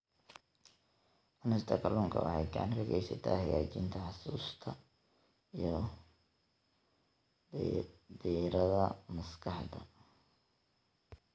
Cunista kalluunka waxay gacan ka geysataa hagaajinta xusuusta iyo diiradda maskaxda.